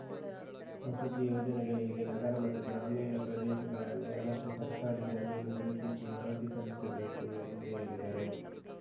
ವಸತಿ ಯೋಜನೆಗಳಿಗೆ ನಗರ ಮತ್ತು ಗ್ರಾಮೀಣ ಪ್ರದೇಶಗಳಲ್ಲಿ ಅಗತ್ಯ ಸರ್ಕಾರಿ ಜಮೀನು ಗುರುತಿಸಿ ವರದಿ ಸಲ್ಲಿಸಬೇಕು ಎಂದು ಹೇಳಿದರು